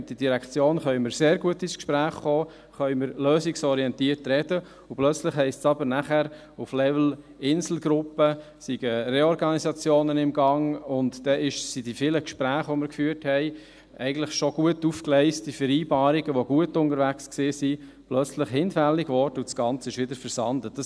Mit der Direktion können wir sehr gut ins Gespräch kommen, können wir lösungsorientiert sprechen, und plötzlich heisst es danach aber auf Level Inselgruppe, es seien Reorganisationen in Gang, und dann wurden die vielen Gespräche, die wir geführt hatten, eigentlich schon gut aufgegleiste Vereinbarungen, die gut unterwegs waren, plötzlich hinfällig und das Ganze versandete wieder.